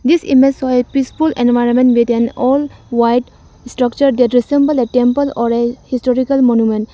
this image show a peaceful environment with an all white structure that resemble a temple or a historical monument.